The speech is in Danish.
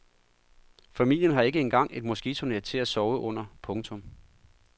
Familien har ikke engang et moskitonet til at sove under. punktum